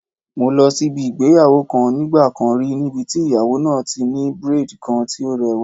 Mo lọ síbi ìgbéyàwó kan nígbà kan rí níbi tí ìyàwó náà ti ní braid kan tí o lẹ́wà.